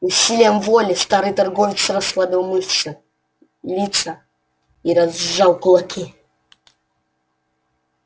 усилием воли старый торговец расслабил мышцы лица и разжал кулаки